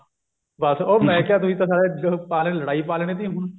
ਵਸ ਮੈਂ ਕਿਹਾ ਤੁਸੀਂ ਤਾਂ ਸਾਲਿਓ ਉਹ ਪਾ ਲੜਾਈ ਪਾ ਲੈਣੀ ਸੀ